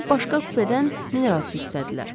Sonra başqa kupedən mineral su istədilər.